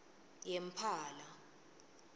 yempala